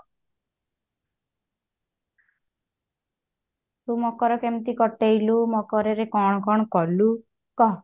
ତୁ ମକର କେମତି କଟେଇଲୁ ମକର ରେ କଣ କଣ କଲୁ କହ